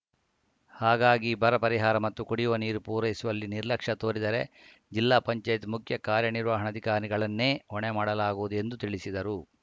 ಹಾಗಾಗಿ ಬರ ಪರಿಹಾರ ಮತ್ತು ಕುಡಿಯುವ ನೀರು ಪೂರೈಸುವಲ್ಲಿ ನಿರ್ಲಕ್ಷ್ಯ ತೋರಿದರೆ ಜಿಲ್ಲಾ ಪಂಚಾಯತ್‌ ಮುಖ್ಯಕಾರ್ಯ ನಿರ್ವಹಣಾಧಿಕಾರಿಗಳನ್ನೇ ಹೊಣೆ ಮಾಡಲಾಗುವುದು ಎಂದು ತಿಳಿಸಿದರು